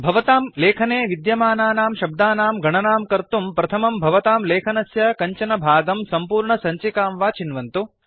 भवतां लेखने विद्यमानानां शब्दानां गणानां कर्तुं प्रथमं भवतां लेखनस्य कञ्चन भागं सम्पूर्णसञ्चिकां वा चिन्वन्तु